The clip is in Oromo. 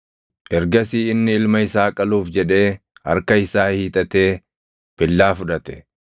Ergasii inni ilma isaa qaluuf jedhee harka isaa hiixatee billaa fudhate.